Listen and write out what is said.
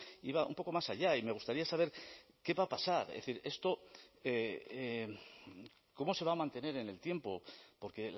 iba un poco más allá y me gustaría saber qué va a pasar es decir esto cómo se va a mantener en el tiempo porque